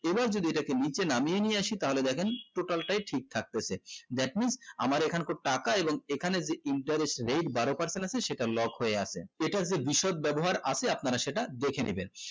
এবার যদি এটাকে নিচে নামিয়ে নিয়ে আসি তাহলে দেখেন total টাই ঠিক থাকতেছে that means আমার এখন কার টাকা এবং এখনে যেই interest rate বারো percent আছে সেটা lock হয়ে আছে এটার যে বিশদ ব্যবহার আছে আপনারা সেটা দেখে নিবেন